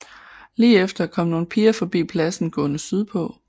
Lige efter kom nogle piger forbi pladsen gående sydpå